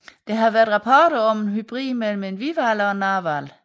Der har også været rapporter om en hybrid mellem en hvidhval og en narhval